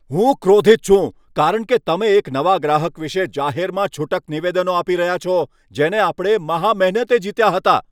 હું ક્રોધિત છું, કારણ કે તમે એક નવા ગ્રાહક વિશે જાહેરમાં છૂટક નિવેદનો આપી રહ્યા છો, જેને આપણે મહા મહેનતે જીત્યા હતા.